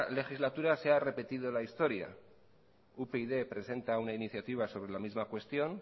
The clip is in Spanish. legislatura se ha repetido en la historia upyd presenta una iniciativa sobre la misma cuestión